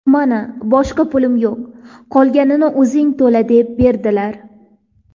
Mana boshqa pulim yo‘q, qolganini o‘zing to‘la deb berdilar.